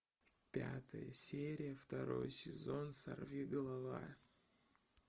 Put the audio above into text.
пятая серия второй сезон сорви голова